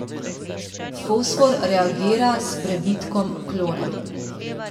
Fosfor reagira s prebitkom klora.